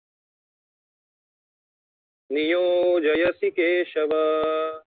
नियोजयसि Keshav